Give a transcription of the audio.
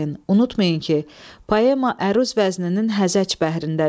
Unutmayın ki, poema əruz vəzninin həzəc bəhrindədir.